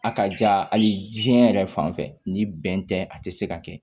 A ka jaa hali diɲɛ yɛrɛ fan fɛ ni bɛn tɛ a tɛ se ka kɛ